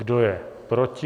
Kdo je proti?